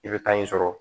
I bɛ taa in sɔrɔ